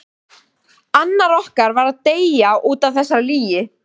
Annar okkar varð að deyja útaf þessari lygi.